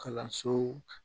Kalansow